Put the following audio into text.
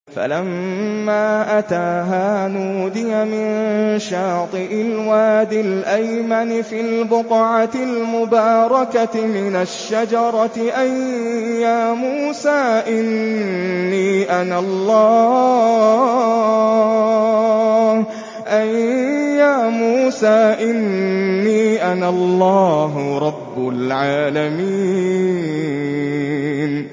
فَلَمَّا أَتَاهَا نُودِيَ مِن شَاطِئِ الْوَادِ الْأَيْمَنِ فِي الْبُقْعَةِ الْمُبَارَكَةِ مِنَ الشَّجَرَةِ أَن يَا مُوسَىٰ إِنِّي أَنَا اللَّهُ رَبُّ الْعَالَمِينَ